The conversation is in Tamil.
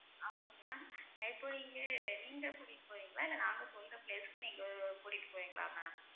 ஆமாம் ma'am இப்ப இங்க நீங்க கூட்டிட்டு போவீங்களா இல்ல நாங்க சொல்ற place க்கு நீங்க கூட்டிட்டு போவீங்களா ma'am